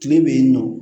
Kile bɛ yen nɔ